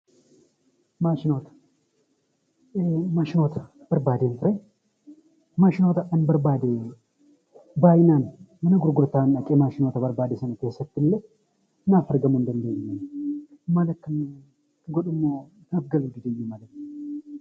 Maashinoota Maashinoota barbaadnu yookaan maashinoota kan barbaadu baayyinaan gurgutaan maashinoota barbaadu keessatti illee maaf argamuu hin dandeenye? Maal akkan godhu?